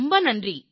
ரொம்ப நன்றி